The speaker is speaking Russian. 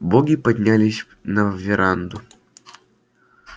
боги поднялись на веранду